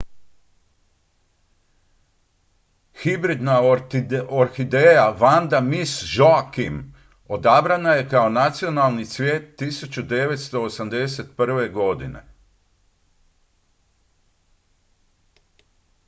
hibridna orhideja vanda miss joaquim odabrana je kao nacionalni cvijet 1981. godine